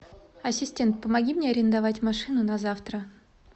ассистент помоги мне арендовать машину на завтра